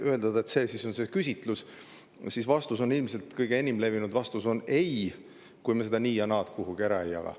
Kui eeldada, et see on küsitluse vastus, siis ilmselt enim levinud vastus on ei, kui me seda nii-ja-naad kuhugi ära ei jaga.